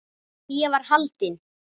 En ég var haldin.